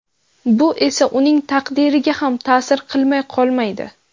Bu esa uning taqdiriga ham ta’sir qilmay qolmaydi.